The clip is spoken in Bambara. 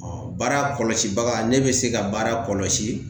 baara kɔlɔsibaga ne bɛ se ka baara kɔlɔsi